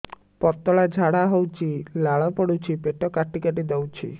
ପତଳା ଝାଡା ହଉଛି ଲାଳ ପଡୁଛି ପେଟ କାଟି କାଟି ଦଉଚି